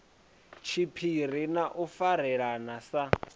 tshiphiri na u farelana sa